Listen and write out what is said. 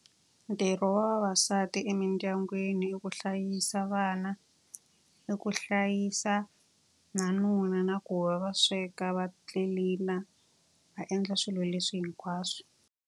Ntirho wa vavasati emidyangwini i ku hlayisa vana, i ku hlayisa na nuna, na ku va va sweka, va tlilina, va endla swilo leswi hinkwaswo.